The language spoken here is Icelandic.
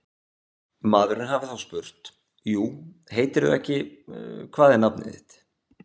Maðurinn hafi þá spurt: jú heitirðu ekki, hvað er nafnið þitt?